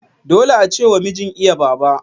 Dole ace wa mijin iya Baba.